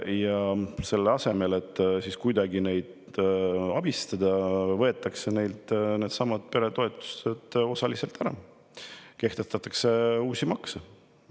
Ja selle asemel, et neid kuidagi abistada, võetakse neilt osaliselt ära needsamad peretoetused ja kehtestatakse uusi makse.